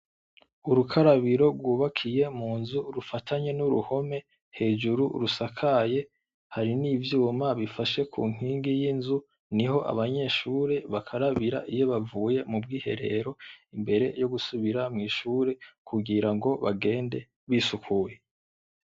Urukarabiro rwubakiye mu nzu rufatanye n‘ uruhome, hejuru rusakaye, hari n‘ ivyuma bifashe ku nkingi y‘ inzu, niho abanyeshure bakarabira iyo bavuye mu bwiherero imbere yo gusubira mw‘ ishure kugira ngo bagende bisukuye.